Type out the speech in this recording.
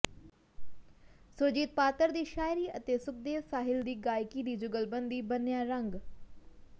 ਸੁਰਜੀਤ ਪਾਤਰ ਦੀ ਸ਼ਾਇਰੀ ਅਤੇ ਸੁਖਦੇਵ ਸਾਹਿਲ ਦੀ ਗਾਇਕੀ ਦੀ ਜੁਗਲਬੰਦੀ ਬੰਨਿ੍ਹਆ ਰੰਗ